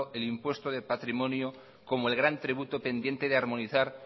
el impuesto de patrimonio como el gran tributo pendiente de armonizar